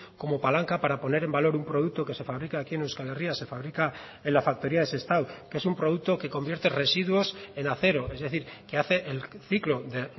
como palanca para poner en valor un producto que se fabrica aquí en euskal herria se fabrica en la factoría de sestao que es un producto que convierte residuos en acero es decir que hace el ciclo de